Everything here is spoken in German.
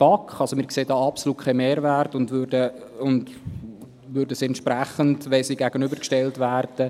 BaK. Wir sehen hier absolut keinen Mehrwert und würden sie entsprechend nicht annehmen, wenn sie einander gegenübergestellt werden.